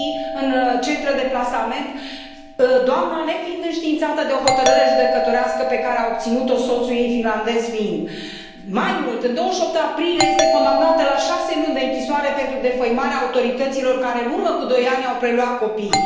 în centre de plasament, doamna nefiind înștiințată de o hotărâre judecătorească pe care a obținut o soțul ei finlandez fiind. Mai mult, în 28 aprilie este condamnată la șase luni de închisoare pentru defăimarea autorităților care în urmă cu doi ani au preluat copiii.